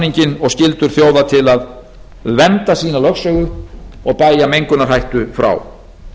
alþjóðahafréttarsamninginn og skyldur þjóða til að vernda sína lögsögu og bægja mengunarhættu frá